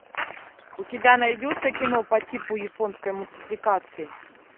у тебя найдется кино по типу японской мультипликации